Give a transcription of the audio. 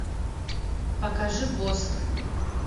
покажи босх